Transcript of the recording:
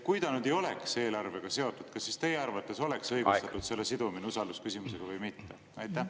Kui ta ei oleks eelarvega seotud, kas siis teie arvates oleks õige selle sidumine usaldusküsimusega või mitte?